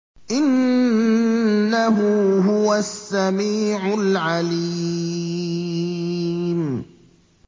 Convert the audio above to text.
إِنَّهُ هُوَ السَّمِيعُ الْعَلِيمُ